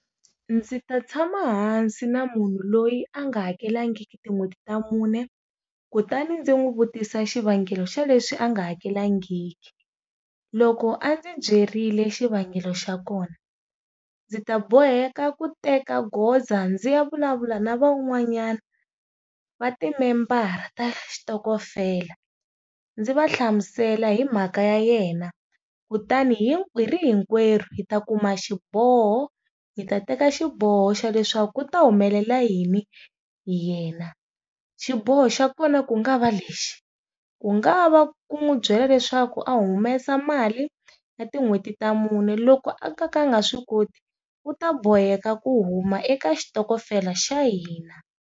Ndzi ta tshama hansi na munhu loyi a nga hakelangiki tin'hweti ta mune, kutani ndzi n'wi vutisa xivangelo xa leswi a nga hakelangiki. Loko loko a ndzi byerile xivangelo xa kona, ndzi ta boheka ku teka goza ndzi ya vulavula na van'wanyani va ti-member-a ta xitokofela, ndzi va hlamusela hi mhaka ya yena. Kutani hi ri hinkwerhu, hi ta kuma xiboho, hi ta teka xiboho xa leswaku ku ta humelela yini hi yena. Xiboho xa kona ku nga va lexi, ku nga va ku n'wi byela leswaku a humesa mali, ya tin'hweti ta mune loko a ka nga a nga swi koti, u ta boheka ku huma eka xitokofela xa hina.